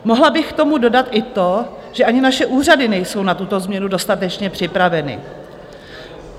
Mohla bych k tomu dodat i to, že ani naše úřady nejsou na tuto změnu dostatečně připraveny.